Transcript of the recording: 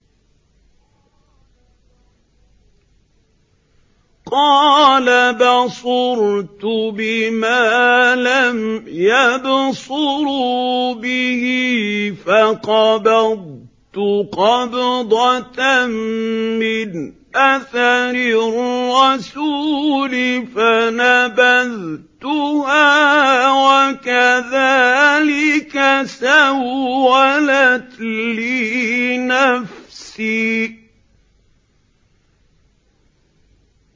قَالَ بَصُرْتُ بِمَا لَمْ يَبْصُرُوا بِهِ فَقَبَضْتُ قَبْضَةً مِّنْ أَثَرِ الرَّسُولِ فَنَبَذْتُهَا وَكَذَٰلِكَ سَوَّلَتْ لِي نَفْسِي